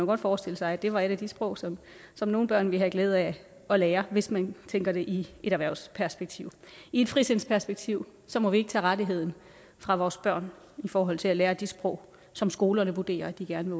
godt forestille sig at det var et sprog som som nogle børn ville have glæde af at lære hvis man tænker det i et erhvervsperspektiv og i et frisindsperspektiv må vi ikke tage rettigheden fra vores børn i forhold til at lære de sprog som skolerne vurderer at de gerne